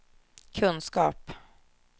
kunskap